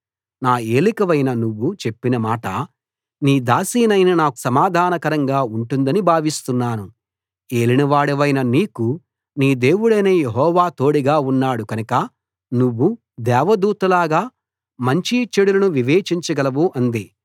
నా ఏలికవైన నువ్వు చెప్పిన మాట నీ దాసినైన నాకు సమాధానకరంగా ఉంటుందని భావిస్తున్నాను ఏలినవాడవైన నీకు నీ దేవుడైన యెహోవా తోడుగా ఉన్నాడు కనుక నువ్వు దేవదూత లాగా మంచి చెడులను వివేచించగలవు అంది